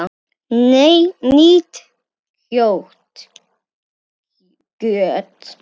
Nýtt kjöt!